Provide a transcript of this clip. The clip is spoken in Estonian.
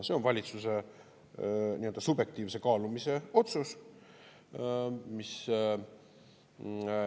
See on valitsuse nii-öelda subjektiivse kaalumise otsus.